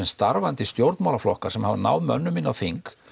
starfandi stjórnmálaflokka sem hafa náð mönnum inn á þing